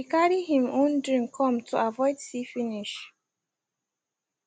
he carry him own drink come to avoid see finish